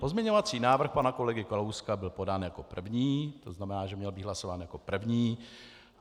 Pozměňovací návrh pana kolegy Kalouska byl podán jako první, to znamená, že měl být hlasován jako první.